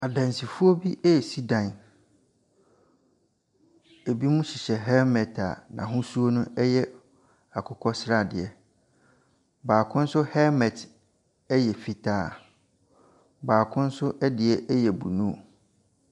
Adansifoɔ bi residan. Ebinom hyehyɛ helmet a n'hosuo no ɛyɛ akokɔ sradeɛ. Baako nso helmet ɛyɛ fitaa. Baako nso ɛdeɛ ɛyɛ blue.